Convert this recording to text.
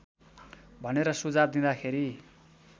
भनेर सुझाव दिँदाखेरि